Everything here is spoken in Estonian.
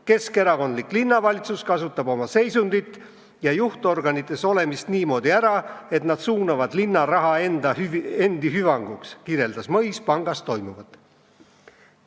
Keskerakondlik linnavalitsus kasutab oma seisundit ja juhtorganites olemist niimoodi ära, et nad suunavad linna raha endi hüvanguks," kirjeldas Mõis pangas toimuvat.